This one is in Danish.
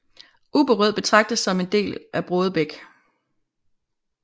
Ubberød betragtes som en del af Brådebæk